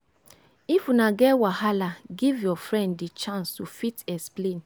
if una get wahala give your friend di chance to fit explain